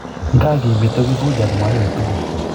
nga kimito kifuja ak mayowe tugul